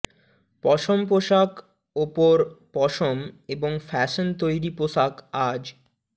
পশম পোশাক উপর পশম এবং ফ্যাশন তৈরি পোশাক আজ